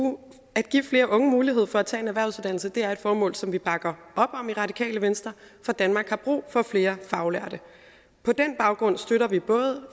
at give flere unge mulighed for at tage en erhvervsuddannelse er et formål som vi bakker op om i radikale venstre for danmark har brug for flere faglærte på den baggrund støtter vi